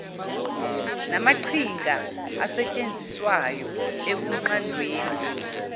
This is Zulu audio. namaqhinga asetshenziswayo ekunqandeni